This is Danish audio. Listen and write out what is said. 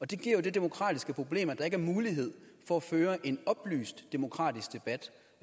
det giver jo det demokratiske problem at der ikke er mulighed for at føre en oplyst demokratisk debat